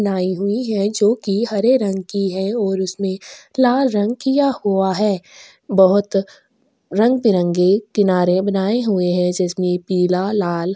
नाइ हुई है जो की हरे रंग की है और उसमे लाल रंग किया हुआ है बोहोत रंग -बिरंगे किनारे में लाए हुए है इसमें पीला लाल। --